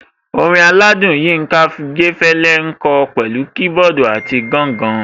Orin aládùn Yinka Ayéfẹ́lẹ́ ń kọ pẹ̀lú kiboodu àti gangan.